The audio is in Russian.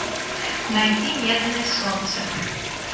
найди медное солнце